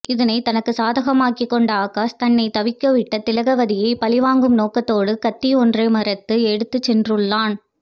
இதனை தனக்கு சாதகாமாக்கிக் கொண்ட ஆகாஷ் தன்னை தவிக்க விட்ட திலகவதியை பழிவாங்கும் நோக்கத்தோடு கத்தி ஒன்றை மறைத்து எடுத்துச்சென்றுள்ளான்